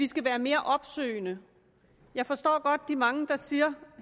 skal være mere opsøgende jeg forstår godt de mange der siger